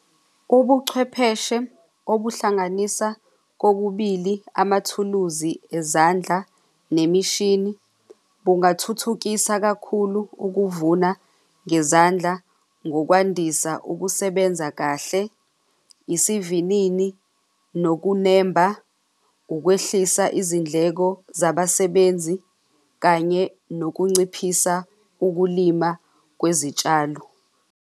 Ubuchwepheshe obuhlanganisa kokubili amathuluzi ezandla nemishini bungathuthukisa kakhulu ukuvuna ngezandla ngokwandisa ukusebenza kahle, isivinini nokunemba, ukwehlisa izindleko zabasebenzi kanye nokunciphisa ukulima kwezitshalo.